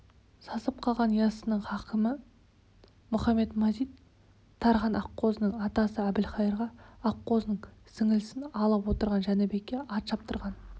сасып қалған яссының хакімі мұхамед-мазит тархан аққозының атасы әбілқайырға аққозының сіңлісін алып отырған жәнібекке ат шаптырған